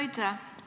Aitäh!